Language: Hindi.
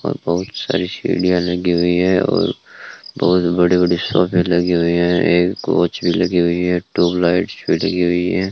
और बहुत सारी सीढ़ियां लगी हुई हैं और बहुत बड़े बड़े सोफे लगे हुए हैं एक काउच भी लगी हुई है ट्यूबलाइट्स भी लगी हुई है।